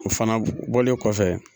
O fana bɔlen kɔfɛ